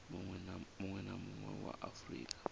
munwe na munwe wa afurika